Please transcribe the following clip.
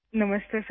نمستے سر